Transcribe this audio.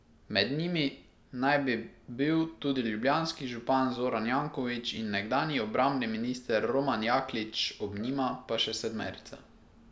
Med njimi naj bi bil tudi ljubljanski župan Zoran Janković in nekdanji obrambni minister Roman Jaklič, ob njima pa še sedmerica.